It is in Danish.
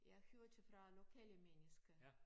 Jeg hørte fra lokale mennesker